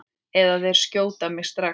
Eða þeir skjóta mig strax.